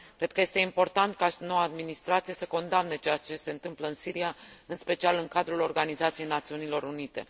Cred că este important ca noua administrație să condamne ceea ce se întâmplă în Siria, în special în cadrul Organizației Națiunilor Unite.